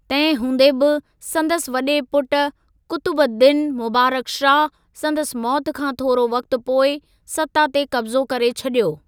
तहिं हूंदे बि, संदसि वॾे पुट कुतुबुद्दीन मुबारक शाह, संदसि मौति खां थोरो वक़्ति पोइ सत्ता ते कब्ज़ो करे छॾियो।